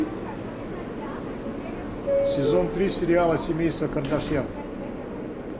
сезон три сериала семейство кардашьян